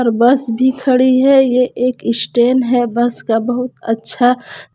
और बस भी खड़ी है ये एक स्टेन है बस का बहुत अच्छा।